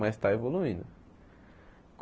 Mas está evoluindo.